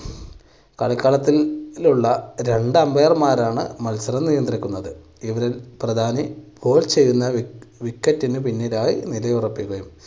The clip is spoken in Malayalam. കളിക്കളത്തിൽ ഉള്ള രണ്ട് umpire മാരാണ് മത്സരം നിയന്ത്രിക്കുന്നത്. ഇതിൽ പ്രധാനി ചെയ്യുന്ന wicket ന് പിന്നിലായി നിലയൊറപ്പിക്കുന്നു.